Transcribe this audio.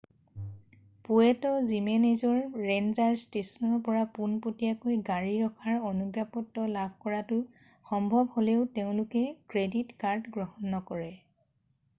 পুৱেট' জিমেনেজৰ ৰেঞ্জাৰ ষ্টেছনৰ পৰা পোনপটীয়াকৈ গাড়ী ৰখাৰ অনুজ্ঞাপত্ৰ লাভ কৰাটো সম্ভৱ হ'লেও তেওঁলোকে ক্ৰেডিট কাৰ্ড গ্ৰহণ নকৰে